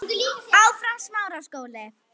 Kolkrabbar geta dulbúist einstaklega vel.